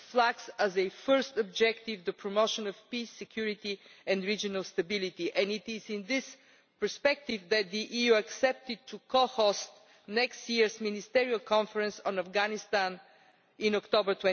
It flags, as a first objective, the promotion of peace, security and regional stability, and it is in this perspective that the EU has agreed to co host next year's ministerial conference on Afghanistan, in October